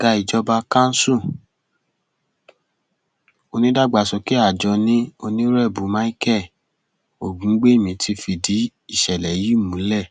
alága ìjọba kanṣu onìdàgbàsókè àjọní onírèbù micheal ògúngbẹmí ti fìdí ìṣẹlẹ yìí múlẹ